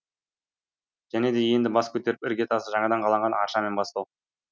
және де енді бас көтеріп ірге тасы жаңадан қаланған арша мен бастау